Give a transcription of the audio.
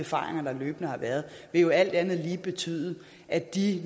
erfaringer der løbende har været vil jo alt andet lige betyde at de